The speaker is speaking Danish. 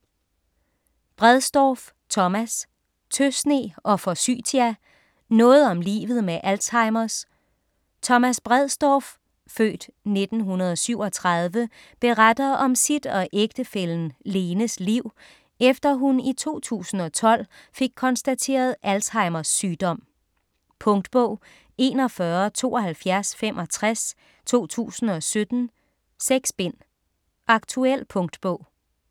Bredsdorff, Thomas: Tøsne og forsytia: noget om livet med Alzheimers Thomas Bredsdorff (f. 1937) beretter om sit og ægtefællen Lenes liv, efter hun i 2012 fik konstateret Alzheimers sygdom. Punktbog 417265 2017. 6 bind. Aktuel punktbog